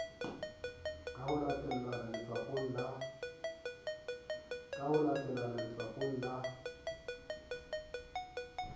ka ho latellane letswapong la